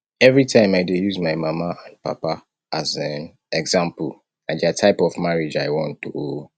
everytime i dey use my mama and papa as um example na dia type of marriage i want oo